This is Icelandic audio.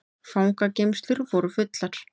Fangageymslur voru fullar